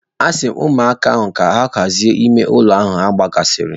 Asi m ụmụaka ahụ ka ha hazie ime ụlọ ha gbasasịrị.